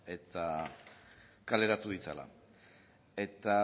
eta kaleratu ditzala eta